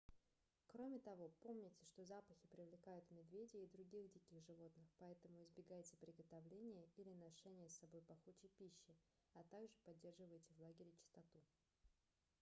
кроме того помните что запахи привлекают медведей и других диких животных поэтому избегайте приготовления или ношения с собой пахучей пищи а также поддерживайте в лагере чистоту